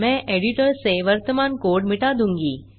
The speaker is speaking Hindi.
मैं एडिटर से वर्तमान कोड मिटा दूँगा